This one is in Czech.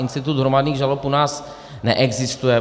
Institut hromadných žalob u nás neexistuje.